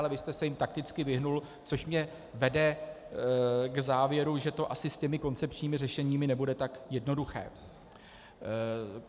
Ale vy jste se jim takticky vyhnul, což mě vede k závěru, že to asi s těmi koncepčními řešeními nebude tak jednoduché.